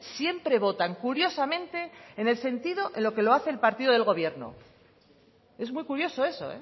siempre votan curiosamente en el sentido en lo que lo hace el partido del gobierno es muy curioso eso